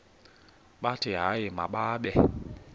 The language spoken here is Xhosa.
bathi hayi mababe